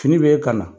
Fini bɛ ka na